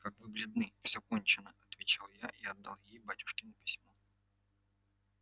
как вы бледны всё кончено отвечал я и отдал ей батюшкино письмо